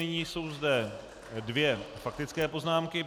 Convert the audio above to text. Nyní jsou zde dvě faktické poznámky.